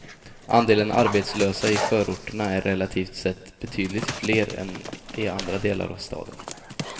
Andelen arbetslösa i förorterna är relativt sett betydligt fler än i andra delar av staden.